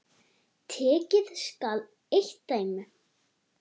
Tekið skal eitt dæmi.